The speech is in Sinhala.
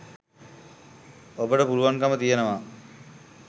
ඔබට පුළුවන්කම තියෙනවා